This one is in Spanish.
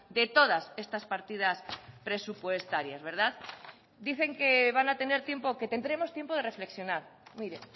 de todas estas partidas presupuestarias dicen que van a tener tiempo que tendremos tiempo de reflexionar mire